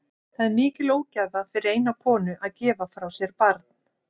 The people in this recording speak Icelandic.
Það er mikil ógæfa fyrir eina konu að gefa frá sér barn.